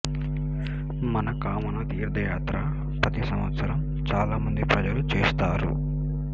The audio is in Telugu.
మనకామన తీర్థయాత్ర ప్రతి సంవత్సరం చాలా మంది ప్రజలు చేస్తారు